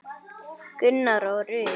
Gunnar og Rut.